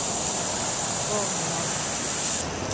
Borgny Hanssen